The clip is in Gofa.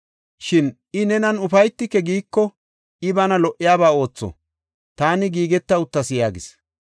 Shin i, ‘Nenan ufaytike’ giiko, I bana lo77iyaba ootho; taani giigeta uttas” yaagis.